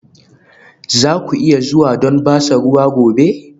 Za ku iya zuwa don ban ruwa gobe?